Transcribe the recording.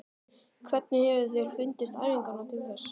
Hvernig hefur þér fundist æfingarnar til þessa?